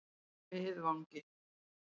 Miðvangi